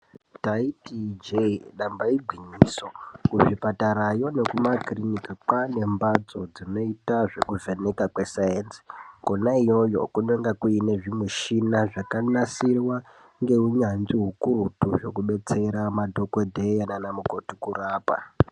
Taiti ijee damba igwinyiso. Kuzvipatarayo nekumakiriniki ,kwave nembatso dzinoita zvekuvhenekwa kwesainzi. Kona iyoyo kunenge kune zvimichina zvakanasirwa ngeunyanzvi hukurutu hwekudetsera madhokodheya naana mukoti kurapa.